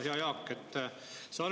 Hea Jaak!